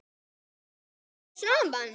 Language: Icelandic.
Ná menn saman?